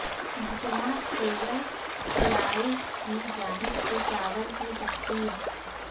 محکمہ civil supplies کی جانب سے چاول کی تقسیم